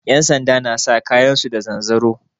Yansanda na sa kayan su da zanzaro